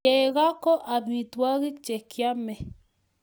Chego ko amitwogik che kiamei